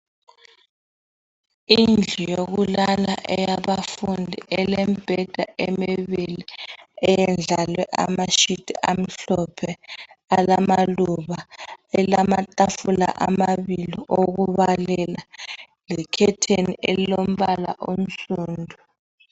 Indlu yokulala eyabafundi elembheda emibili eyendlalwe amashiti amhlophe ilamatafula amabili okubalela lekhetheni elilombala onsundu.